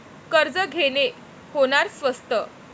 कर्ज घेणे होणार स्वस्त